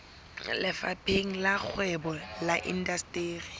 lefapheng la kgwebo le indasteri